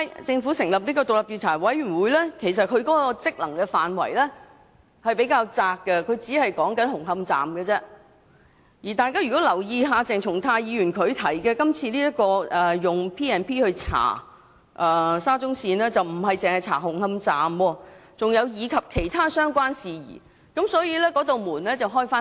政府成立的調查委員會的職能範圍較窄，只局限於紅磡站，而如果大家有留意鄭松泰議員提出的議案，他建議根據《條例》調查沙中線工程，調查的不止是紅磡站，還包括其他相關事宜，所以調查範圍會較闊。